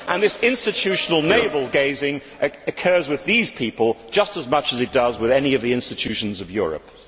This institutional navel gazing occurs with these people just as much as it does with any of the institutions of Europe.